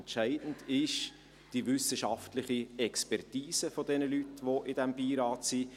Entscheidend ist die wissenschaftliche Expertise der Leute, die in diesem Beirat sind.